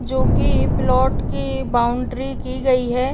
जो कि प्लोट की बाउंड्री की गई है।